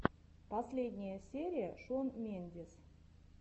последняя серия шон мендес